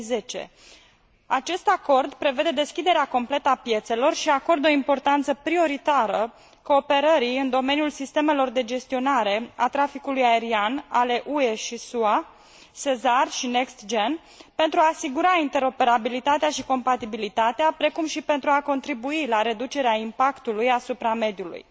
2010. Acest acord prevede deschiderea completă a piețelor și acordă o importanță prioritară cooperării în domeniul sistemelor de gestionare a traficului aerian ale UE și SUA, SESAR și NextGen pentru a asigura interoperabilitatea și compatibilitatea, precum și pentru a contribui la reducerea impactului asupra mediului.